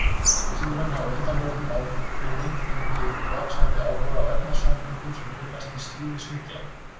Vísindamenn hafa á undanförnum áhrifum fengið vaxandi áhuga á efnasamböndum sem finnast í slími snigla.